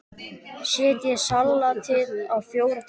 Setjið salatið á fjóra diska.